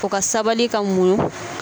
O ka sabali ka muɲun.